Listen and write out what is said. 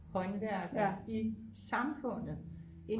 håndværkere i samfundet